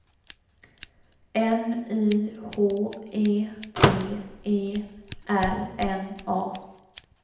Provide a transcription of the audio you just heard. N Y H E T E R N A